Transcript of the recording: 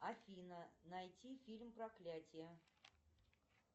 афина найти фильм проклятие